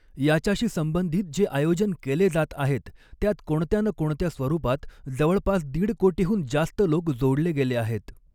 याच्याशी संबंधित जे आयोजन केले जात आहेत, त्यात कोणत्या ना कोणत्या स्वरूपात जवळपास दीडकोटीहून जास्त लोक जोडले गेले आहेत.